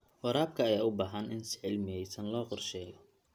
Waraabka ayaa u baahan in si cilmiyeysan loo qorsheeyo.